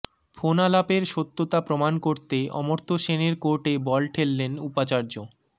ফোনালাপের সত্যতা প্রমাণ করতে অমর্ত্য সেনের কোর্টে বল ঠেললেন উপাচার্য